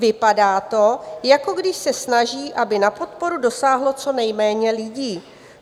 Vypadá to, jako když se snaží, aby na podporu dosáhlo co nejméně lidí.